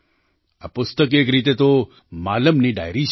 આ પુસ્તક એક રીતે તો માલમની ડાયરી છે